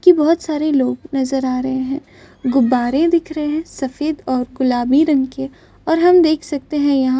की बहुत सारे लोग नजर आ रहे है गुब्बारे दिख रहे है सफ़ेद और गुलाबी रंग के और हम देख सकते है यहाँ --